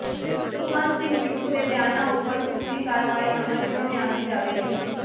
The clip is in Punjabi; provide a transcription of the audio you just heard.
ਸੁਖਵੰਤ ਸਿੰਘ ਬਿੱਟੂ ਦੇ ਬਿਆਨਾਂ ਉਪਰ ਢੁਕਵੀਂ ਕਾਰਵਾਈ ਅਮਲ ਵਿਚ ਲਿਆਂਦੀ ਜਾਵੇਗੀ